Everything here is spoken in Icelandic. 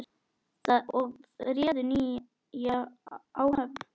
og réðu nýja áhöfn.